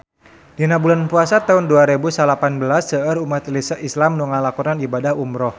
Dina bulan Puasa taun dua rebu salapan belas seueur umat islam nu ngalakonan ibadah umrah